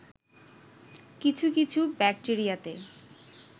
কিছু কিছু ব্যাক্টেরিয়াতে